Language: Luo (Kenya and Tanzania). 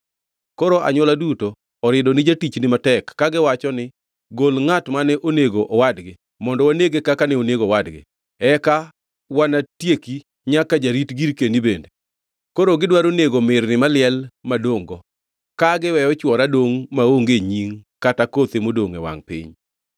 Koro anywola duto orido ni jatichni matek; kagiwacho ni, Gol ngʼat mane onego owadgi, mondo wanege, kaka ne onego owadgi; eka wanatieki nyaka jarit girkeni bende. Koro gidwaro nego mirni maliel madongʼ-go, ka giweyo chwora dongʼ maonge nying kata kothe modongʼ e wangʼ piny.”